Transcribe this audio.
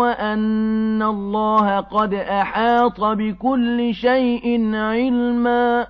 وَأَنَّ اللَّهَ قَدْ أَحَاطَ بِكُلِّ شَيْءٍ عِلْمًا